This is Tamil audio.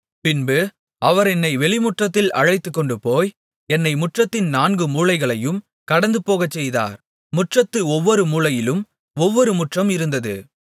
பின்பு அவர் என்னை வெளிமுற்றத்தில் அழைத்துக்கொண்டுபோய் என்னை முற்றத்தின் நான்கு மூலைகளையும் கடந்துபோகச்செய்தார் முற்றத்து ஒவ்வொரு மூலையிலும் ஒவ்வொரு முற்றம் இருந்தது